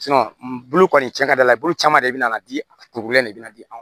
bulu kɔni cɛn ka d'a la bulu caman de be na diŋɛ de bɛna di an ma